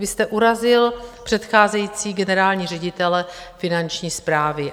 Vy jste urazil předcházející generální ředitele Finanční správy.